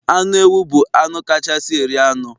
Anụ ewu bụ anụ kachasị eri anụ